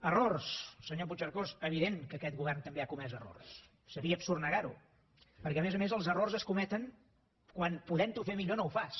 errors senyor puigcercós és evident que aquest govern també ha comès errors seria absurd negar ho perquè a més a més els errors es cometen quan podent ho fer millor no ho fas